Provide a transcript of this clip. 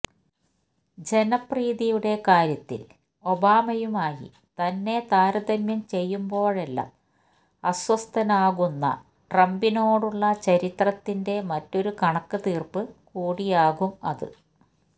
ജനപ്രീതിയുടെ കാര്യത്തില് ഒബാമയുമായി തന്നെ താരതമ്യം ചെയ്യുമ്പോഴെല്ലാം അസ്വസ്ഥനാകുന്ന ട്രംപിനോടുള്ള ചരിത്രത്തിന്റെ മറ്റൊരു കണക്ക് തീര്പ്പ് കൂടിയാകും അത്